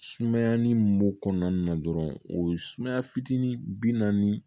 Sumayani b'o kɔnɔna na dɔrɔn o ye sumaya fitinin bi naani